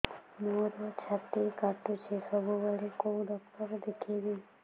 ମୋର ଛାତି କଟୁଛି ସବୁବେଳେ କୋଉ ଡକ୍ଟର ଦେଖେବି